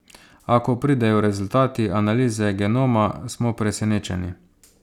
A ko pridejo rezultati analize genoma, smo presenečeni.